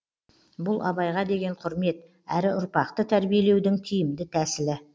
бұл абайға деген құрмет әрі ұрпақты тәрбиелеудің тиімді тәсілі